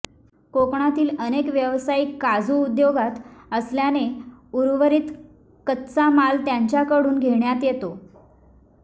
कोकणातील अनेक व्यावसायिक काजू उद्योगात असल्याने उर्वरित कच्चा माल त्यांच्याकडून घेण्यात येतो